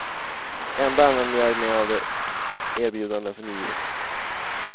Ändå använder jag mig av de erbjudanden som givits.